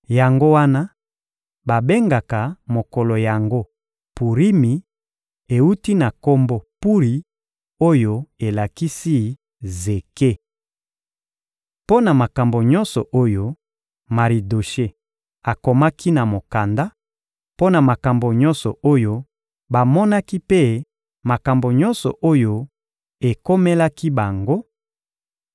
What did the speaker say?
Yango wana babengaka mokolo yango Purimi (ewuti na kombo Puri oyo elakisi zeke). Mpo na makambo nyonso oyo Maridoshe akomaki na mokanda, mpo na makambo nyonso oyo bamonaki mpe makambo nyonso oyo ekomelaki bango,